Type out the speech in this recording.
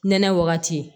Nɛnɛ wagati